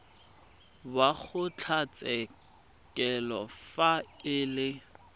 wa kgotlatshekelo fa e le